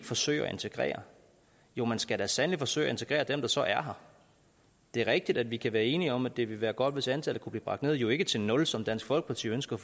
forsøge at integrere jo man skal da sandelig forsøge at integrere dem der så er her det er rigtigt at vi kan være enige om at det vil være godt hvis antallet kunne blive bragt ned men jo ikke til nul som dansk folkeparti ønsker